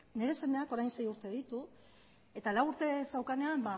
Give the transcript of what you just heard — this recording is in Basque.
nire semeak orain sei urte ditu eta lau urte zeukanean